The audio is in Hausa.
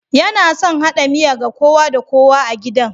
Yana son hada miya ga kowa da kowa a gidan